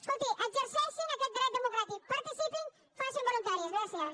escolti exerceixin aquest dret democràtic participin facinse voluntaris gràcies